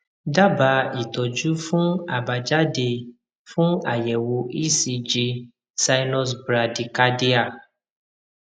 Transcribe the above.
daba itọjú fun abajade fun ayewo ecg sinus brady cardia